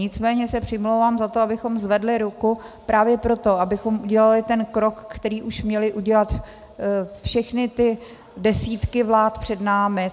Nicméně se přimlouvám za to, abychom zvedli ruku právě proto, abychom udělali ten krok, který už měly udělat všechny ty desítky vlád před námi.